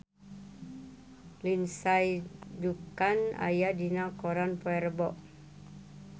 Lindsay Ducan aya dina koran poe Rebo